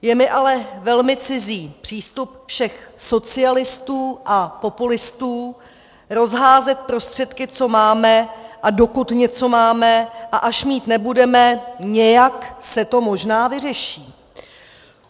Je mi ale velmi cizí přístup všech socialistů a populistů rozházet prostředky, co máme a dokud něco máme, a až mít nebudeme, nějak se to možná vyřeší.